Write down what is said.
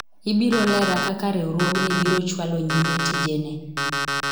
ibiro lera kaka riwruogni biro chwalo nyime tijene